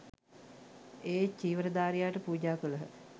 ඒ චීවරධාරියාට පූජා කළහ